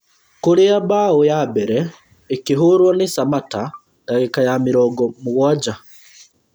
Kũrĩa mbaũ ya mbere ĩkĩhũrwo nĩ Samatta dagĩka ya mĩrongo mũgwanja